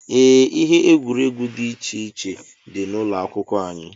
Ee, ihe egwuregwu dị iche iche dị n'ụlọ akwụkwọ anyị.